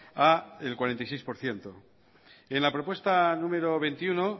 al cuarenta y seis por ciento en la propuesta número veintiuno